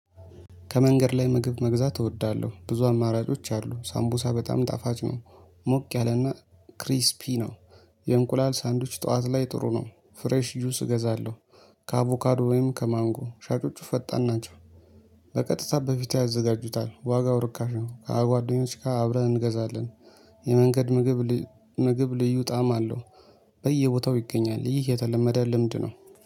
ከመንገድ ላይ ምግብ መግዛት እወዳለሁ ብዙ አማራጮች አሉ ሳምቡሳ በጣም ጣፋጭ ነው። ሞቅ ያለና ክሪስፒ ነው። የእንቁላል ሳንድዊች ጠዋት ላይ ጥሩ ነው ፍሬሽ ጁንስ እገዛለሁ። ከአቮካዶ ወይም ከማንጎ ሻጮጩ ፈጣን ናቸው። በቀጥታ በፊትህ ያዘጋጁታል ዋጋው ርካሽ ነው ከጓደኞች ጋር አብረን እንገዛለን። የመንገድ ምግብ ምግብ ልዩ ጣዕም አለው። በየቦታው ይገኛል ይህ የተለመደ ልምድ ነው